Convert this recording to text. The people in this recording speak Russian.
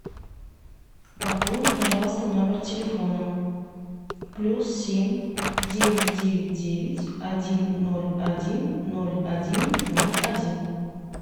пополни пожалуйста номер телефона плюс семь девять девять девять один ноль один ноль один ноль один